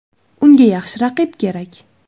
Unga yaxshi raqib kerak.